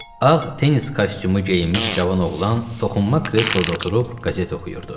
Ağ tennis kostyumu geyinmiş cavan oğlan toxunma kresloda oturub qəzet oxuyurdu.